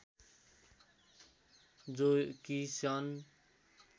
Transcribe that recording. जो कि सन्